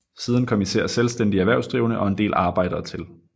Siden kom især selvstændige erhvervsdrivende og en del arbejdere til